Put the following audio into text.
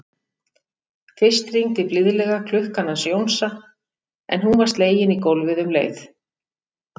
Fyrst hringdi blíðlega klukkan hans Jónsa en hún var slegin í gólfið um leið.